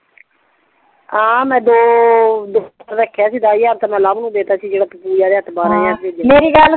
ਹਾਂ ਮੈਂ ਦੋ ਰੱਖਿਆ ਸੀ ਦੱਸ ਹਜ਼ਾਰ ਤੇ ਮੈਂ ਲਵ ਤੂੰ ਦੇ ਦਿੱਤਾ ਸੀ ਜੇਡਾ ਤੂ ਪੂਜਾ ਦੇ ਹੱਥ ਬਾਰ ਹਜ਼ਾਰ ਪੇਜਇਆ ਸੀ ਮੇਰੀ ਗੱਲ